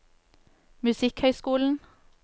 musikkhøyskolen